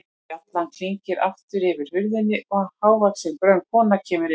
Bjallan klingir aftur yfir hurðinni og hávaxin, grönn kona kemur inn.